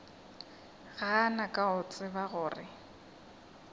gana ka go tseba gore